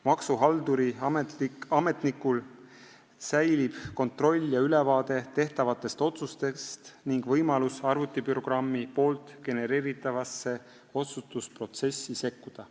Maksuhalduril, ametnikul säilib kontroll ja ülevaade tehtavatest otsustest ning võimalus arvutiprogrammi genereeritavasse otsustusprotsessi sekkuda.